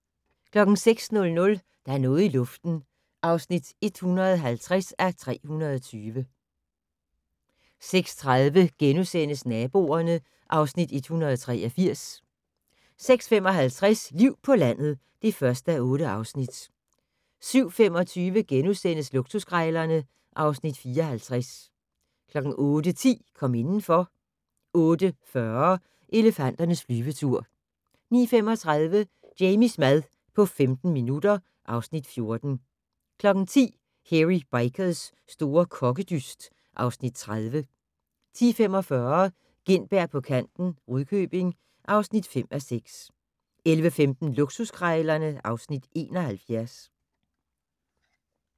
06:00: Der er noget i luften (150:320) 06:30: Naboerne (Afs. 183)* 06:55: Liv på landet (1:8) 07:25: Luksuskrejlerne (Afs. 54)* 08:10: Kom indenfor 08:40: Elefanternes flyvetur 09:35: Jamies mad på 15 minutter (Afs. 14) 10:00: Hairy Bikers' store kokkedyst (Afs. 30) 10:45: Gintberg på kanten - Rudkøbing (5:6) 11:15: Luksuskrejlerne (Afs. 71)